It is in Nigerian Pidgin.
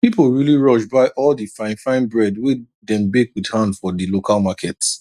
people really rush buy all the fine fine bread wey dem bake with hand for di local market